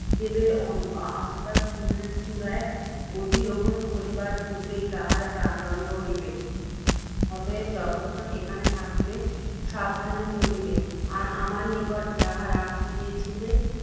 দেবের অস্তা চুল চূড়ায় অধিরোহণ করিবার পূর্ব্বেই, তাঁহার প্রাণদণ্ড হইবে। অতএব, যতক্ষণ এখানে থাকিবে, সাবধানে চলিবে। আর আমার নিকট যাহা রাখিতে দিয়েছিলে,